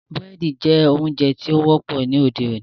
Búrẹ́dì jẹ́ oúnjẹ tí ó wọ́pọ̀ ní òde-òní.